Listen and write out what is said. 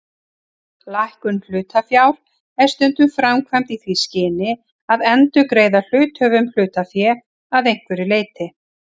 Lækkun hlutafjár er stundum framkvæmd í því skyni að endurgreiða hluthöfum hlutafé að einhverju leyti.